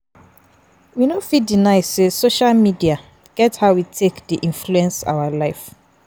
We no fit deny sey social media get how e take dey influence our life